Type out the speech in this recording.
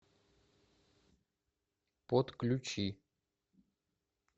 подключи